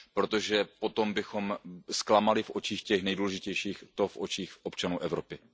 Protože potom bychom zklamali v očích těch nejdůležitějších, v očích občanů Evropy.